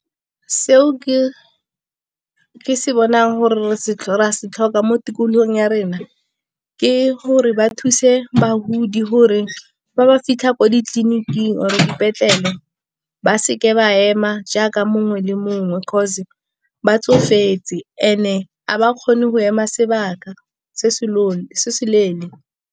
Seo ke se bonang gore re a se tlhoka mo tikologong ya rena, ke gore ba thuse bagodi gore fa ba fitlha kwa ditleliniking or dipetlele ba seke ba ema jaaka mongwe le mongwe, 'cause ba tsofetse and-e ga ba kgone go ema sebaka se se leele.